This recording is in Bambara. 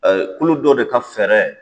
Kulu dɔ de ka fɛɛrɛ.